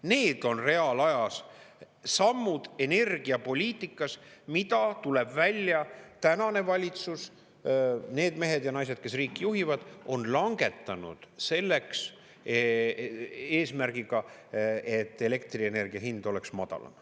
Need on reaalajas sammud energiapoliitikas, mida, tuleb välja, tänane valitsus – need mehed ja naised, kes riiki juhivad – on langetanud selleks eesmärgiga, et elektrienergia hind oleks madalam.